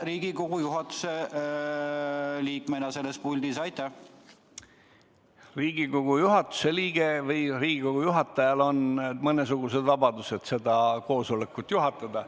Riigikogu juhatuse liikmel, Riigikogu istungi juhatajal on mõnesugused vabadused istungit juhatada.